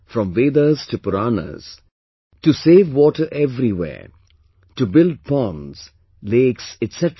From Vedas to Puranas, to save water everywhere, to build ponds, lakes etc